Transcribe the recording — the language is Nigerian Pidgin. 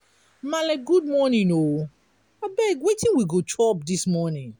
maale good morning o abeg wetin we go chop dis morning?